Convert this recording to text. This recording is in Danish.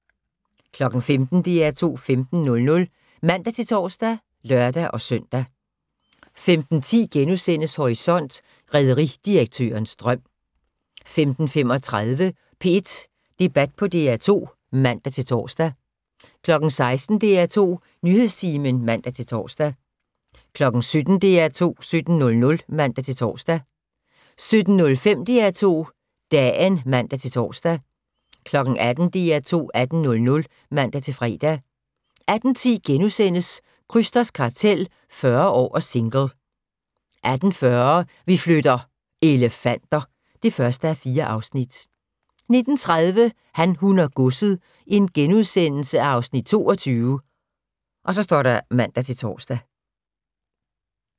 15:00: DR2 15.00 (man-tor og lør-søn) 15:10: Horisont: Rederidirektørens drøm * 15:35: P1 Debat på DR2 (man-tor) 16:00: DR2 Nyhedstimen (man-tor) 17:00: DR2 17.00 (man-tor) 17:05: DR2 Dagen (man-tor) 18:00: DR2 18.00 (man-fre) 18:10: Krysters Kartel – 40 år og single * 18:40: Vi flytter - elefanter (1:4) 19:30: Han, hun og godset (Afs. 22)*(man-tor)